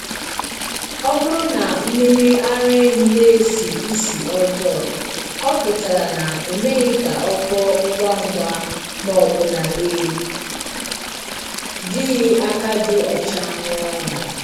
Ọ bụrụ na mmiri ara ehi na-esi ísì ọjọọ, ọ pụtara na e meghị ka o kpoo ngwa ngwa ma ọ bụ na e jighị aka dị ọcha rụọ ya